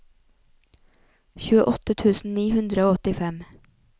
tjueåtte tusen ni hundre og åttifem